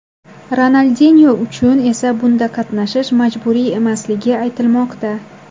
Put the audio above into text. Ronaldinyo uchun esa bunda qatnashish majburiy emasligi aytilmoqda.